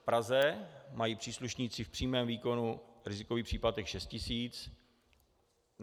V Praze mají příslušníci v přímém výkonu rizikový příplatek šest tisíc.